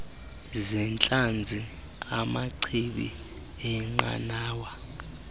zeentlanzi amachibi eenqanawa